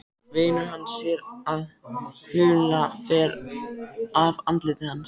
Vinur hans sér að hula fer af andliti hans.